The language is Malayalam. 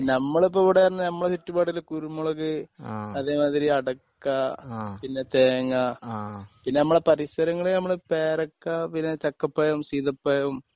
നമ്മളിപ്പോ ഇവിടെന്ന് പറഞ്ഞാ നമ്മുടെ ചുറ്റുപാടില് കുരുമുളക് അതേമാതിരി അടയ്ക്ക പിന്നെ തേങ്ങ പിന്നെ നമ്മളെ പരിസരങ്ങളിൽ നമ്മള് പേരക്ക പിന്നെ ചക്കപ്പഴം സീതപ്പഴം